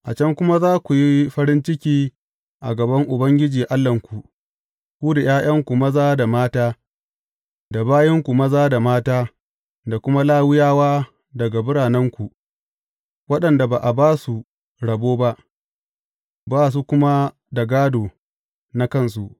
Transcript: A can kuma za ku yi farin ciki a gaban Ubangiji Allahnku, ku da ’ya’yanku maza da mata, da bayinku maza da mata, da kuma Lawiyawa daga biranenku, waɗanda ba a ba su rabo ba, ba su kuma da gādo na kansu.